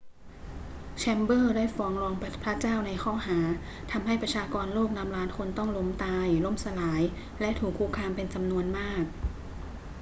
แชมเบอรส์ได้ฟ้องร้องพระเจ้าในข้อหา ทำให้ประชากรโลกนับล้านคนต้องล้มตาย ล่มสลาย และถูกคุกคามเป็นจำนวนมาก